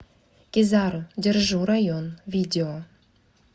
кизару держу район видео